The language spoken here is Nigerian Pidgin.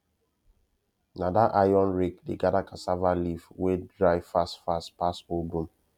na that iron rake dey gather cassava leave wey dry fast fast pass old broom